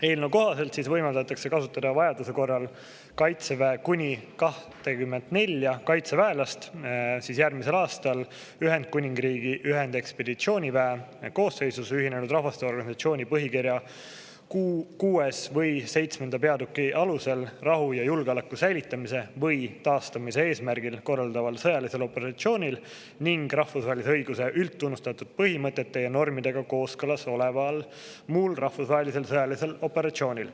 Eelnõu kohaselt võimaldatakse kasutada vajaduse korral Kaitseväe kuni 24 kaitseväelast järgmisel aastal Ühendkuningriigi ühendekspeditsiooniväe koosseisus Ühinenud Rahvaste Organisatsiooni põhikirja 6. või 7. peatüki alusel rahu ja julgeoleku säilitamise või taastamise eesmärgil korraldataval sõjalisel operatsioonil ning rahvusvahelise õiguse üldtunnustatud põhimõtete ja normidega kooskõlas oleval muul rahvusvahelisel sõjalisel operatsioonil.